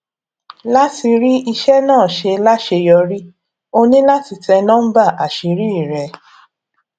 láti rí iṣẹ náà ṣe láṣeyọrí o ní láti tẹ núḿbà àṣírí rẹ